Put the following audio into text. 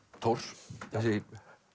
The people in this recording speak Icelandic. Thors þessi